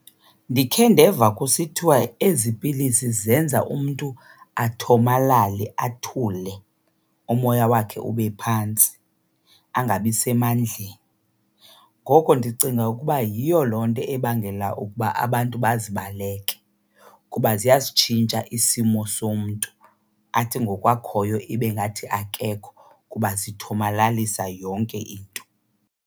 Ndikhe ndeva kusithiwa ezi pilisi zenza umntu athomalale athule, umoya wakhe ube phantsi angabi semandleni. Ngoko ndicinga ukuba yiyo loo nto ebangela ukuba abantu bazibaleke kuba ziyasitshintsha isimo somntu, athi ngoku akhoyo ibe ngathi akekho kuba zithomalalisa yonke into.